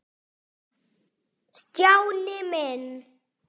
Stjáni minn.